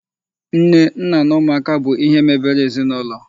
Nne, nna na ụmụaka bụ ihe mebere ezinụlọ.